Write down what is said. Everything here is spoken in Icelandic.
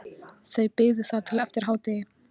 Þau biðu þar til eftir hádegi.